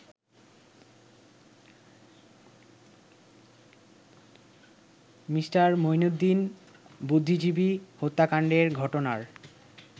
Me. Mueenuddin বুদ্ধিজীবী হত্যাকাণ্ডের ঘটনার